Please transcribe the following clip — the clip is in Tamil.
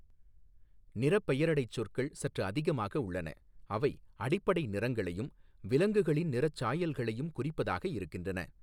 நிறப் பெயரடைச் சொற்கள் சற்று அதிகமாக உள்ளன, அவை அடிப்படை நிறங்களையும் விலங்குகளின் நிறச் சாயல்களையும் குறிப்பதாக இருக்கின்றன.